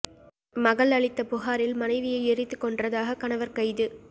மகள் அளித்த புகாரில் மனைவியை எரித்துக்கொன்றதாக கணவர் கைது